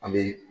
An bɛ